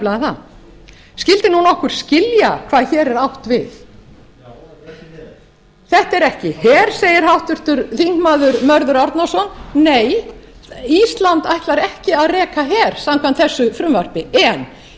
það skyldi nokkur skilja hvað hér er átt við þetta er ekki her þetta er ekki her segir háttvirtur þingmaður mörður árnason nei ísland ætlar ekki að reka her samkvæmt þessu frumvarpi en ísland